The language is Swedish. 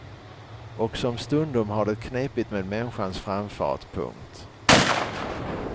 Och som stundom har det knepigt med människans framfart. punkt